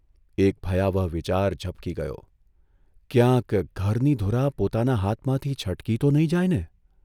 એક ભયાવહ વિચાર ઝબકી ગયોઃ ' ક્યાંક ઘરની ધૂરા પોતાના હાથમાંથી છટકી તો નહીં જાયને?